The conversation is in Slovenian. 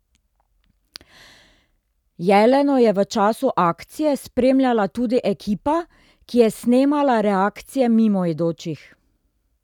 Jeleno je v času akcije spremljala tudi ekipa, ki je snemala reakcije mimoidočih.